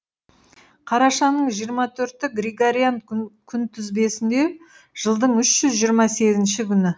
қарашаның жиырма төрті григориан күнтізбесінде жылдың үш жүз жиырма сегізінші күні